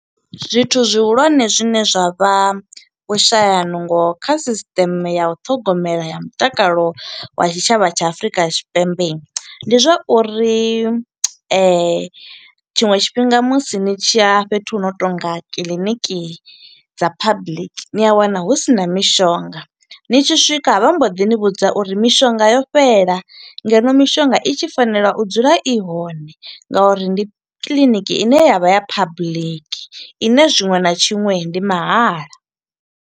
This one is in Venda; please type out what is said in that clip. Zwithu zwihulwane zwine zwa vha vhushaya nungo kha sisteme ya ṱhogomelo ya mutakalo wa tshitshavha tsha Afurika Tshipembe. Ndi zwa uri tshiṅwe tshifhinga musi ni tshiya fhethu hu no to nga kiḽiniki dza public, ni a wana hu sina mishonga. Ni tshi swika vha mbo ḓi ni vhudza uri mishonga yo fhela, ngeno mishonga i tshi fanela u dzula i hone nga uri ndi kiḽiniki ine ya vha ya public ine tshiṅwe na tshiṅwe ndi mahala.